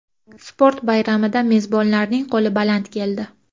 Sport bayramida mezbonlarning qo‘li baland keldi.